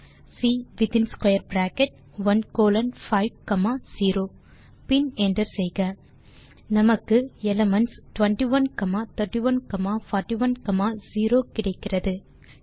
type செய்க C வித்தின் square bracket 1 colon 5 comma 0 பின் என்டர் செய்க நமக்கு எலிமென்ட்ஸ் 21 31 41 0 கிடைக்கிறது